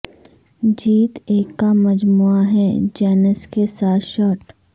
جیت ایک کا مجموعہ ہے جینس کے ساتھ شرٹ